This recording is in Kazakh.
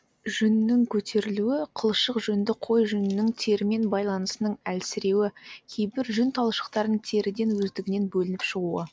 жүннің көтерілуі қылшық жүнді қой жүнінің терімен байланысының әлсіреуі кейбір жүн талшықтарының теріден өздігінен бөлініп шығуы